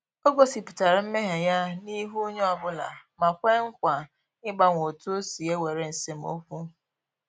Ọ gosipụtara mmehie ya n’ihu onyeobula ma kwee nkwa ịgbanwe otu osi ewere esemokwu